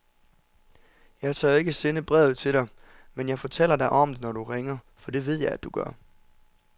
Jeg tør ikke sende brevet til dig, men jeg fortæller dig om det, når du ringer, for det ved jeg du gør.